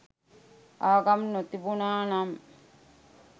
ආගම් නොතිබුනා නම්